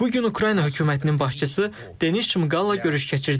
Bu gün Ukrayna hökumətinin başçısı Denis Şmıqalla görüş keçirdik.